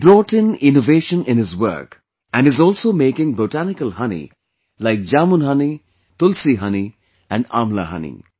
He brought in innovation in his work, and is also making botanical honey like Jamun honey, Tulsi honey and Amla honey